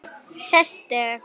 Sestu